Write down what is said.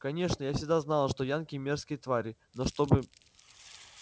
конечно я всегда знала что янки мерзкие твари но чтобы